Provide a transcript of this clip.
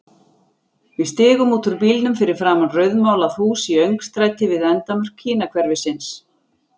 Við stigum út úr bílnum fyrir framan rauðmálað hús í öngstræti við endamörk Kínahverfisins.